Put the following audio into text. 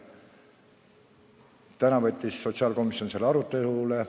Täna võttis sotsiaalkomisjon selle arutelule.